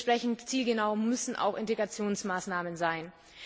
Dementsprechend zielgenau müssen auch Integrationsmaßnahmen sein.